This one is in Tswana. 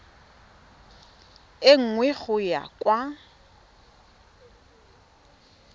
e nngwe go ya kwa